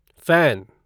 fan